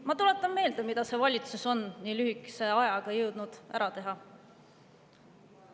Ma tuletan meelde, mida see valitsus on nii lühikese ajaga jõudnud ära teha.